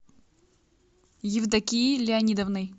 евдокией леонидовной